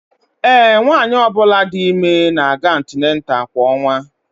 Ee, nwanyị ọ bụla dị ime na-aga atinatalu kwa ọnwa